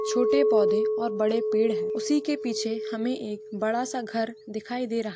छोटे पोधे और बड़े पेड़ है उसी के पीछे हमें एक बड़ा घर दिखाई दे रहा --